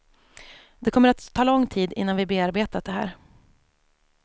Det kommer att ta lång tid innan vi bearbetat det här.